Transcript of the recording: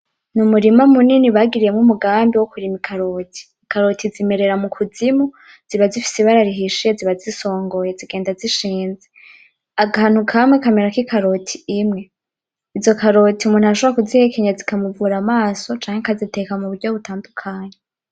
Mu murima munini bagiriyemwo umugambi wo kurima ikaroti, ikaroti zimerera mukuzimu ziba zifise ibara rihisha ziba zisongoye zigenda zishinze akantu kamwe kamerako ikaroti imwe izo karoti umuntu arashobora kuzihekenya zikamuvura amaso canke akaziteka mu buryo butandakukanye.